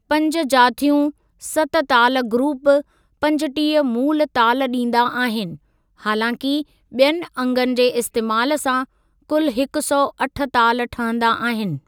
पंज जाथियूं सत ताल ग्रुप पंजटीह मूल ताल ॾींदा आहिनि, हालांकि ॿियनि अंगनि जे इस्तेमालु सां कुल हिकु सौ अठ ताल ठहंदा आहिनि।